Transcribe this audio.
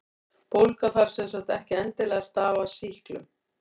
Bólga þarf sem sagt ekki endilega að stafa af sýklum.